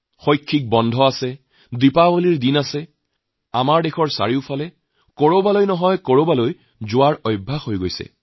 ছুটি পালে বা দীপাৱলীৰ অনুষ্ঠান আহিলে আমাৰ দেশৰ কৰবাত কৰবালৈ ফুৰিবলৈ যোৱাৰ এটা প্ৰৱণতা আছে